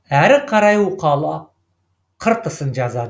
әрі қарай уқалап қыртысын жазады